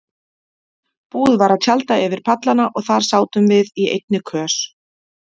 Búið var að tjalda yfir pallana og þar sátum við í einni kös.